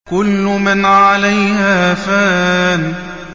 كُلُّ مَنْ عَلَيْهَا فَانٍ